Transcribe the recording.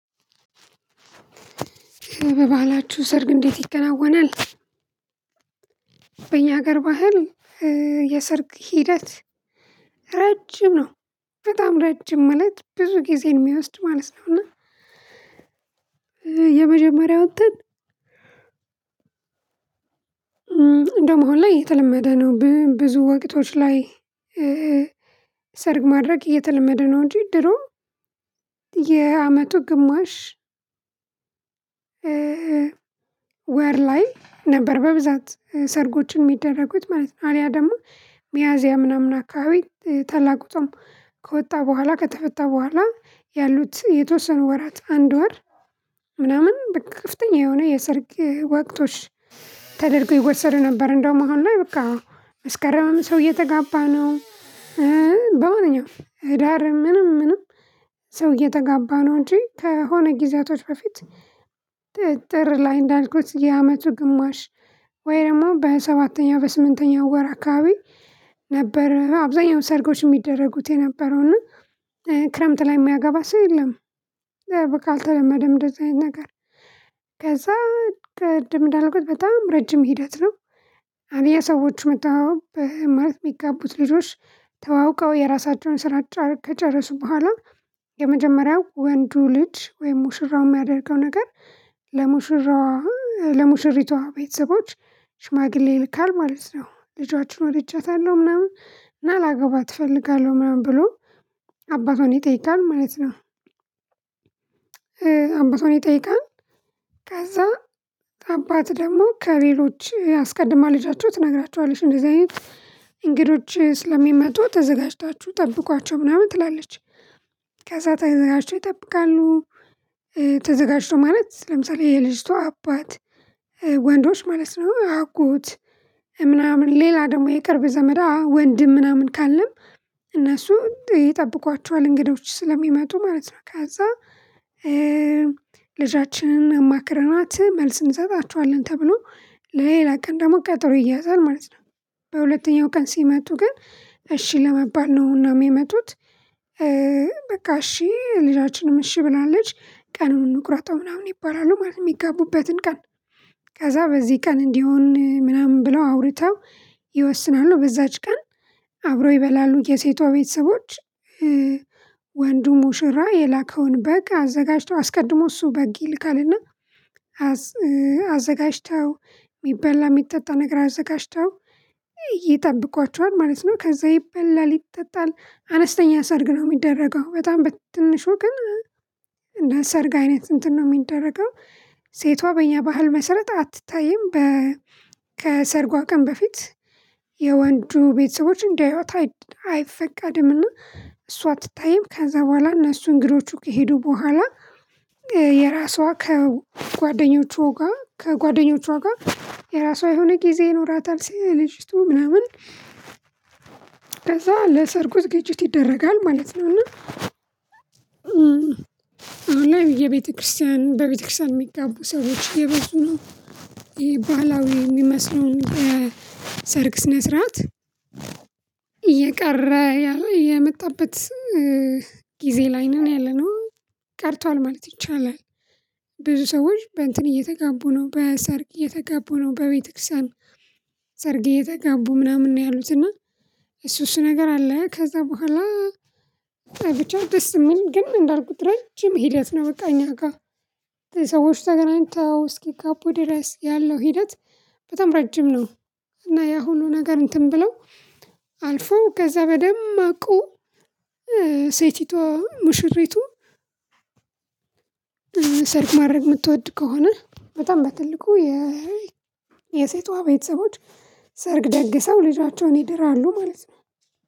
በባህላችሁ ሰርግ እንዴት ይከናወናል? በእኛ ሀገር ባህል የሰርግ ሂደት ረጅም ነው በጣም ረጅም ማለት ብዙ ጊዜን የሚወስድ ማለት ነው። እና የመጀመሪያውን እንትን እንደውም ሁሌ የተለመደ ነው። ብዙ ወቅቶች ላይ ሰርግ ማድረግ እየተለመደ ነው። እንጂ ድሮ የአመቱ ግማሽ ወር ላይ ነበር በብዛት ሰርጎችን የሚደረጉት ማለት ነው። አሊያ ደግሞ ሚያዝያ ምናምን አካባቢ ታላቁ ጾም ከወጣ በኋላ ከተፈታ በኋላ ያሉት የተወሰኑ ወራት አንድ ወር ምናምን ከፍተኛጥኝ የሆነ የሰርግ ወቅቶች ተደርጎ ይወሰድ ነበር። እንደውም አሁን ላይ በቃ መስከረም ሰው እየተጋባ ነው። በማንኛውም ህዳር ምንም ምንም ሰው እየተጋባ ነው። እንጂ ከሆነ ጊዜያቶች በፊት ጥር ላይ እንዳልኩት የአመቱ ግማሽ ወይ ደግሞ በሰባተኛው በስምንተኛው ወር አካባቢ ነበር አብዛኛው ሰርጎች የሚደረጉት የነበረውና ክረምት ላይ የሚያገባ ሰው የለም። አልተለመደም እንደዚህ አይነት ነገር። ከዛ ቅድም እንዳልኩት በጣም ረጅም ሂደት ነው። አሊ ሰዎች መጥተው ማለት የሚጋቡት ልጆች ተዋውቀው የራሳቸውን ስራ ከጨረሱ በኋላ የመጀመሪያው ወንዱ ልጅ ወይም ሙሽራው የሚያደርገው ነገር ለሙሽራው ለሙሽሪቷ ቤተሰቦች ሽማግሌ ይልካል ማለት ነው ልጆቻችሁን ወድቻታለሁ ምናምን ምናልባት እፈልጋለሁ ምናምን ብሎ አባቷን ይጠይቃል ማለት ነው። ከዛ አባት ደግሞ ከሌሎች አስቀድማ ልጃቸው ትነግራቸዋለች እንደዚህ አይነት እንግዶች ስለሚመጡ ተዘጋጅታችሁ ጠብቋቸው ምናምን ትላለች። ከዛ ተዘጋጁ ተው ይጠብቃሉ። ተዘጋጅተው ማለት ለምሳሌ የልጅቷ አባት ወንዶች ማለት ነው አጎት ምናምን ሌላ ደግሞ የቅርብ ዘመዳ ወንድም ምናምን ካለ እነሱ ይጠብቋቸዋል እንግዶች ስለሚመጡ ማለት ነው። ከዛ ልጃችንን አማክረናት መልስ እንሰጣችኋለን ተብሎ ለሌላ ቀን ደግሞ ቀጠሮ ይያዛል ማለት ነው። በሁለተኛው ቀን ሲመጡ ግን እሺ ለመባል ነውና ሚመጡት። በቃ እሺ ልጃችንም እሺ ብላለች ቀኑን እንቁረጣው ምናምን ይባላሉ ማለት የሚጋቡበትን ቀን። ከዛ በዚህ ቀን እንዲሆን ምናምን ብለው አውርተው ይወስናሉ በዛች ቀን። አብረው ይበላሉ የሴቷ ቤተሰቦች ወንዱ ሙሽራ በግ አዘጋጅተው አስቀድሞ እሱ በግ ይልካልና አዘጋጅተው የሚበላ የሚጠጣ ነገር አዘጋጅተው ይጠብቋቸዋል ማለት ነው። ከዛ ይበላል ይጠጣል አነስተኛ ሰርግ ነው የሚደረገው በጣም በትንሹ ግን እና ሰርግ አይነት እንትን ነው የሚደረገው። ሴቷ በእኛ ባህል መሰረት አትታይም። ከሰርጓ ቀን በፊት የወንዱ ቤተሰቦች እንዲያዩት አይፈቃድምና እሷ አትታይም ከዛ በኋላ እነሱን እንግዶቹ ከሄዱ በኋላ የራሷ ከጓደኞቿ ጋር የራሷ የሆነ ጊዜ ይኖራታል። ሰል ልጅቱ ምናምን ከዛ ለሰርጉ ዝግጅች ይደረጋል ማለት ነው። እና አሁን ላይ በቤተክርስቲያን የሚጋቡ ሰዎች እየብዙ ነው። ይሄ ባህላዊ የሚመስለው የሰርግ ስነ ስርዓት እየቀረ ያለ የመጣበት ጊዜ ላይ ነው ያለነው። ቀርቷል ማለት ይቻላል። ብዙ ሰዎች በእንትን እየተጋቡ ነው በሰርግ እየተጋቡ ነው በቤተክርስቲያን ሰርግ እየተጋቡ ምናምን ነው ያሉት እና እሱ እሱ ነገር አለ ከዛ በኋላ ብቻ ደስ ምል ግን እንዳልኩት ረጅም ሂደት ነው። በቃ እኛ ጋ ሰዎች ተገናኝተው እስኪ ጋቡ ድረስ ያለው ሂደት በጣም ረጅም ነው። እና ያሁኑ ሁሉ ነገር እንትን ብለው አልፎ ከዛ በደማአቁ ሴቲቷ ሙሽሪቱ ሰርግ ማድረግ የምትወድ ከሆነ በጣም በትልቁ የሴቷ ቤተሰቦች ሰርግ ደግሰው ልጆቻቸውን ይድራሉ ማለት ነው።